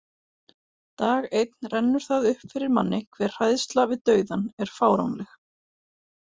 Dag einn rennur það upp fyrir manni hve hræðsla við dauðann er fáránleg.